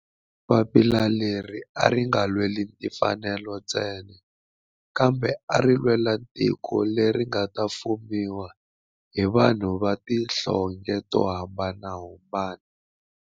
Papila leri a ri nga lweli timfanelo ntsena kambe ari lwela tiko leri nga ta fumiwa hi vanhu va tihlonge to hambanahambana.